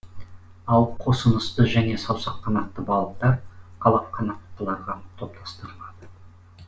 ал қосынысты және саусаққанатты балықтар қалаққанаттыларға топтастырылады